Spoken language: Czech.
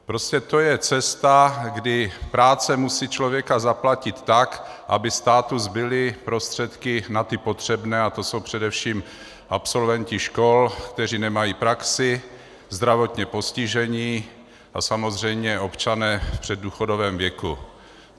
Prostě to je cesta, kdy práce musí člověka zaplatit tak, aby státu zbyly prostředky na ty potřebné, a to jsou především absolventi škol, kteří nemají praxi, zdravotně postižení a samozřejmě občané v předdůchodovém věku.